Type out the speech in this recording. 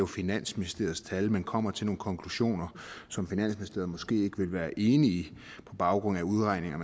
finansministeriets tal men kommer til nogle konklusioner som finansministeriet måske ikke ville være enig i på baggrund af udregninger